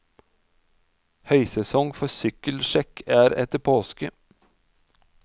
Høysesong for sykkelsjekk er etter påske.